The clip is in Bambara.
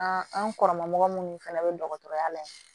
An an kɔrɔ mɔgɔ munnu fɛnɛ bɛ dɔgɔtɔrɔya la yan